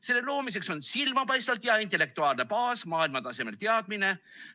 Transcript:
Selle loomiseks on silmapaistvalt hea intellektuaalne baas, maailmatasemel teadmine.